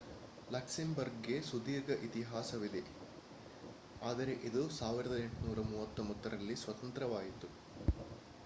ಲಕ್ಸೆಂಬರ್ಗ್‌ಗೆ ಸುದೀರ್ಘ ಇತಿಹಾಸವಿದೆ ಆದರೆ ಇದು 1839 ರಲ್ಲಿ ಸ್ವತಂತ್ರವಾಯಿತು